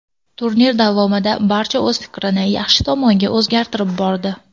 Turnir davomida barcha o‘z fikrini yaxshi tomonga o‘zgartirib bordi.